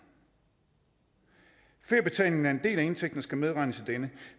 feriebetalingen er en del af indtægten og skal medregnes i denne